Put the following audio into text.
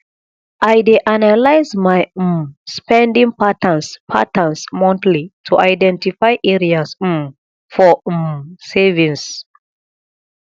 i dey analyze my um spending patterns patterns monthly to identify areas um for um savings